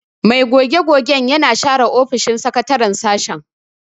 Mai goge-gogen yana share ofishin sakataren sashen.